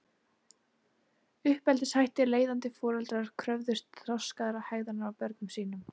Uppeldishættir Leiðandi foreldrar kröfðust þroskaðrar hegðunar af börnum sínum.